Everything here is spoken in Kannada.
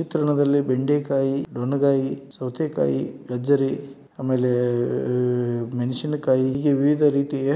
ಚಿತ್ರಣದಲ್ಲಿ ಬೆಂಡೆಕಾಯಿ ನೋನ್ ಗಾಯಿ ಸೌತೆಕಾಯಿ ಗಜ್ಜರಿ ಆಮೇಲೆ ಮೆಣಸಿನಕಾಯಿ ಈ ವಿವಿಧ ರೀತಿಯ